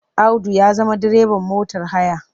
Audu ya zama direban motar haya.